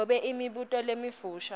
nobe imibuto lemifisha